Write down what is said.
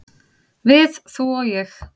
"""Við, þú og ég."""